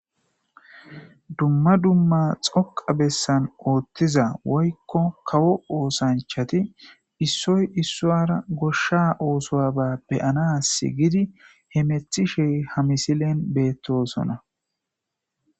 Dumma dumma dhoqqa bessan oothiza woykko kawo osanchatti issoy issuwara gosha oosuwaba be'anasi gidi hemetishe ha misilen beetosona.